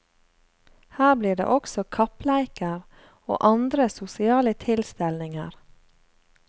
Her blir det også kappleiker og andre sosiale tilstelninger.